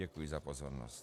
Děkuji za pozornost.